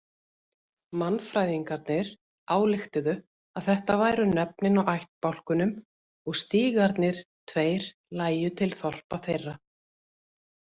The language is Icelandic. Mannfræðingarnir ályktuðu að þetta væru nöfnin á ættbálkunum og stígarnir tveir lægju til þorpa þeirra.